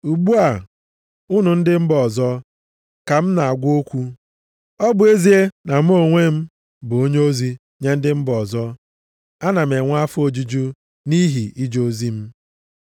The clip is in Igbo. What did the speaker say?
Ugbu a, unu ndị mba ọzọ, ka m na-agwa okwu. Ọ bụ ezie na mụ onwe m bụ onyeozi nye ndị mba ọzọ, ana m enwe afọ ojuju nʼihi ije ozi m.